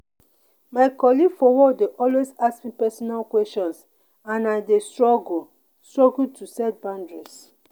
my colleague for work dey always ask me personal questions and i dey struggle struggle to set boundaries.